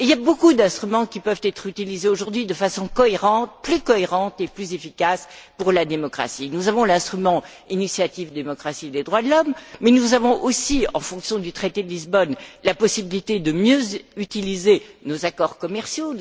Il y a beaucoup d'instruments qui peuvent être utilisés aujourd'hui de façon plus cohérente et plus efficace pour la démocratie. Nous avons l'instrument de l'initiative pour la démocratie et les droits de l'homme, mais nous avons aussi, au titre du traité de Lisbonne, la possibilité de mieux utiliser nos accords commerciaux